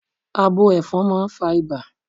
Abo Ẹ̀fọn máa fà ibà